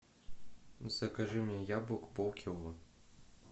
закажи мне яблок полкило